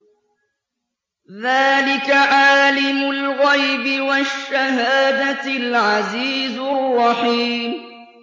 ذَٰلِكَ عَالِمُ الْغَيْبِ وَالشَّهَادَةِ الْعَزِيزُ الرَّحِيمُ